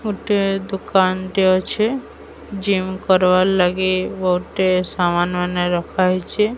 ଗୋଟେ ଦୋକାନ୍ ଟେ ଅଛି ଜିମ୍ କରବାର୍ ଲାଗି ଗୋଟେ ସମାନ୍ ମାନେ ଅଛି ରଖା ହେଇଛି।